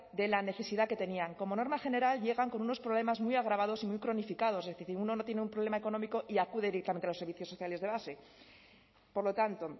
de la necesidad que tenían como norma general llegan con unos problemas muy agravados y muy cronificados es decir uno no tiene un problema económico y acude directamente a los servicios sociales de base por lo tanto